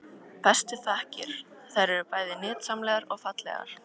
Bestu þakkir- þær eru bæði nytsamlegar og fallegar.